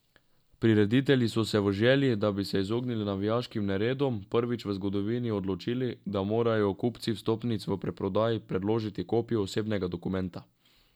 Prireditelji so se v želji, da bi se izognili navijaškim neredom, prvič v zgodovini odločili, da morajo kupci vstopnic v predprodaji predložiti kopijo osebnega dokumenta.